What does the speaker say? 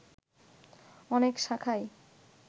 অনেক শাখায়